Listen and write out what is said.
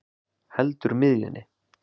Heldur miðjunni.